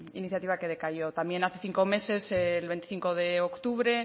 iniciativa que decayó también hace cinco meses el veinticinco de octubre